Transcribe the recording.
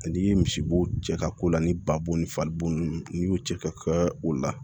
N'i ye misibo cɛ ka ko la ni babo ni fali bo ninnu n'i y'o cɛ ka kɛ o la